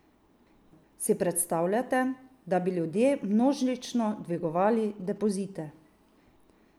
Si predstavljate, da bi ljudje množično dvigovali depozite?